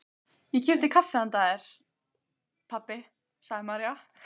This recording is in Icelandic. Ég keypti kaffi handa þér, pabbi, sagði María.